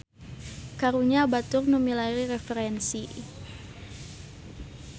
Karunya batur nu milari referensi.